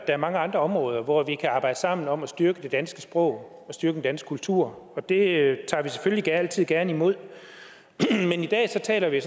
er mange andre områder hvor vi kan arbejde sammen om at styrke det danske sprog og styrke den danske kultur og det tager vi selvfølgelig altid gerne imod men i dag taler vi